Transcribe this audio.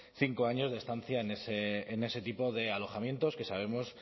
cinco años de estancia en ese tipo de alojamientos que sabemos